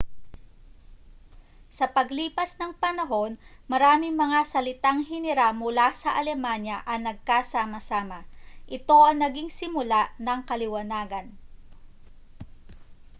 sa paglipas ng panahon maraming mga salitang hiniram mula sa alemanya ang nagkasama-sama ito ang naging simula ng kaliwanagan